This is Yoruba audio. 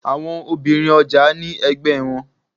Àwọn obìnrin ọjà ní ẹgbẹ́ wọn.